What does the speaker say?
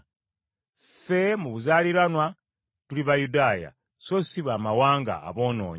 Ffe mu buzaaliranwa tuli Bayudaaya so si Bamawanga aboonoonyi.